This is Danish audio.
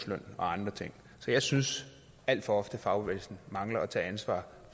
andre ting så jeg synes alt for ofte fagbevægelsen mangler at tage ansvar